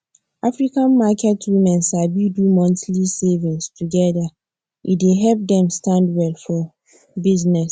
african market women sabi do monthly savings together e dey help dem stand well for business